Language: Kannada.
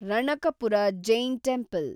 ರಣಕಪುರ ಜೈನ್ ಟೆಂಪಲ್